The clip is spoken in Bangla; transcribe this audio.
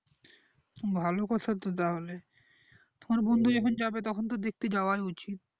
ভালো কথা তো তাহলে তোমার বন্ধু যেখানে যাবে তখন তো দেখতে যাওয়ায় উচিত